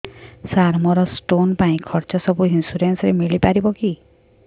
ସାର ମୋର ସ୍ଟୋନ ପାଇଁ ଖର୍ଚ୍ଚ ସବୁ ଇନ୍ସୁରେନ୍ସ ରେ ମିଳି ପାରିବ କି